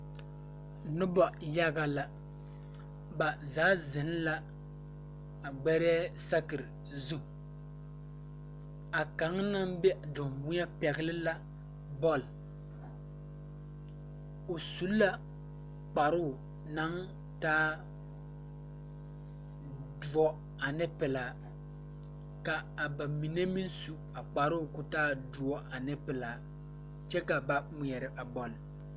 Nobɔ yaga la ba zaa zeŋ la a gbɛrɛɛ sakire zu a kaŋ naŋ be danweɛ pɛgle la bɔl o su la kparoo naŋ taa doɔ ane pilaa ka a ba mine maŋ su kparoo koo taa doɔ ane pilaa kyɛ ka ba ngmeɛrɛ a bɔl.